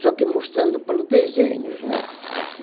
só que mostrando pelos desenhos, né.